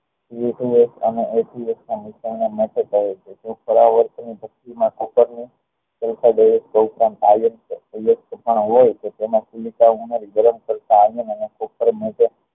cooker ને